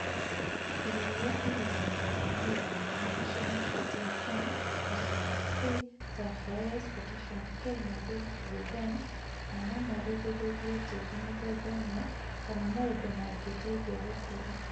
Irio iria irigagĩrĩria magetha mega nĩ cio Nitrogen(N),phosphorus(p),Sulphur(S),Potassium(k) na zinc(Zn) na no marigĩrĩrie tĩĩri mĩthemba ĩmwe kana maundu mangĩteithia gũkũra.